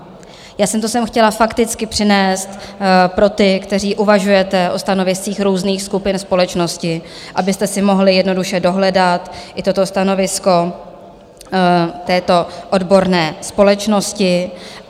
Já jsem to sem chtěla fakticky přinést pro ty, kteří uvažujete o stanoviscích různých skupin společnosti, abyste si mohli jednoduše dohledat i toto stanovisko této odborné společnosti.